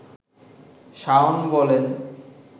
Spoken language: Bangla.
শাওন বলেন